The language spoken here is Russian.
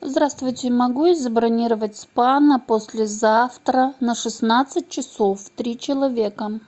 здравствуйте могу я забронировать спа на послезавтра на шестнадцать часов три человека